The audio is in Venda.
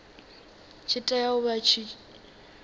tshi tea u vha tshi